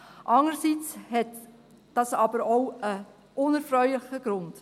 Andererseits hat dies aber auch einen unerfreulichen Grund: